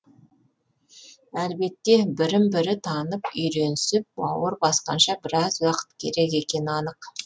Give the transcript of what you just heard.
әлбетте бірін бірі танып үйренісіп бауыр басқанша біраз уақыт керек екені анық